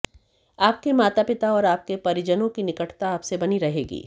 आपके माता पिता और आपके परिजनों की निकटता आपसे बनी रहेगी